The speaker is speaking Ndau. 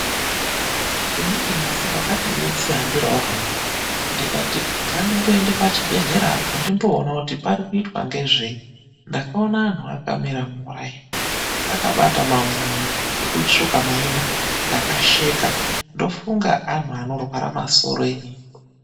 Umweni musi ndakati ndeizvihambira hangu ndakaende pachibhehlera kuti ndimboone kuti parikumboitwe ngezvenyi. Ndakaone anhu akaite mitsara akabate mamwoyi ekutsvuka maina ndakasheka ndikati ndofunga anhu anorwara masoro.